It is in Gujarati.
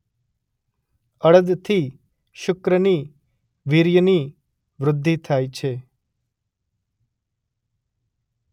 અડદથી શુક્રની વીર્યની વૃદ્ધિ થાય છે.